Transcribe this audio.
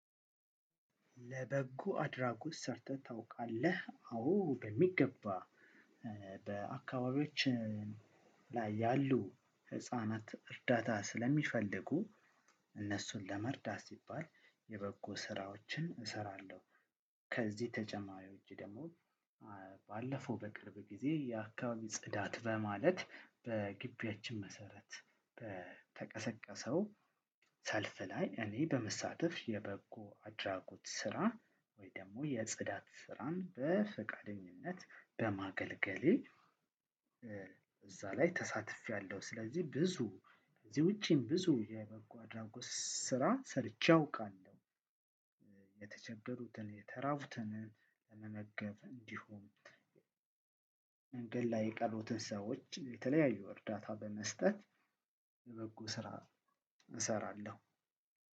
ለበጎ አድራጎት ሰርተህ ታውቃለህ? አዎ በሚገባ! በአካባቢዎችህ ላይ ያሉ ህፃናት እርዳታ ስለሚፈልጉ እነሱን ለመርዳት ሲባል የበጎ ስራዎችን እሰራለሁ ከዚህ ተጨማሪ ወጪ ደግሞ ባለፈው በቅርብ ጊዜ የአካባቢ ጽዳት በማለት በግቢያችን መሰረት በተቀሰቀሰው ሰልፍ ላይ እኔ በመሳተፍ የበጎ አድራጎት ስራ ወይ ደግሞ የጽዳት ስራን በፈቃደኝነት በማገልገሌ እዛ ላይ ተሳትፌያለሁ። ስለዚህ ብዙ ከዚህ ውጪም ብዙ የበጎ አድራጎት ስራ ሰርቼ አውቃለሁ። የተቸገሩትን፣ የተራቡትን መመገብ እንዲሁም መንገድ ላይ የቀሩትን ሰዎች የተለያዩ እርዳታ በመስጠት የበጎ ስራ እሰራለሁ።